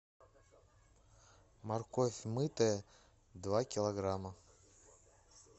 морковь мытая два килограмма